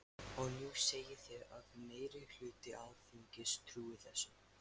Og nú segið þið að meiri hluti Alþingis trúi þessu.